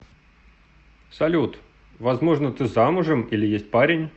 салют возможно ты замужем или есть парень